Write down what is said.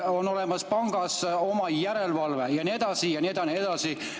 Pangas on olemas oma järelevalve ja nii edasi ja nii edasi ja nii edasi.